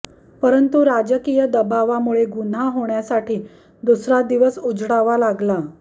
परंतु राजकीय दबावामुळे गुन्हा होण्यासाठी दुसरा दिवस उजाडावा लागला